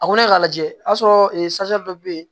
A ko ne k'a lajɛ a y'a sɔrɔ dɔ bɛ yen